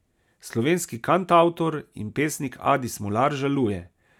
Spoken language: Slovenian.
Slovenski kantavtor in pesnik Adi Smolar žaluje.